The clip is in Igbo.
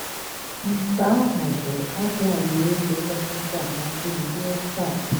Nke ahụ bụ abụ Alaeze kachasị amasị m ruo taa"